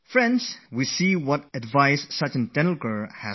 Friends, you heard what Tendulkarji had to say